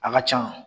A ka can